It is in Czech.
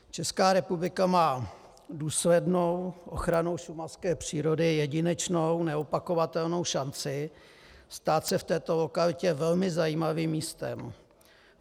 Česká republika má důslednou ochranou šumavské přírody jedinečnou, neopakovatelnou šanci stát se v této lokalitě velmi zajímavým místem.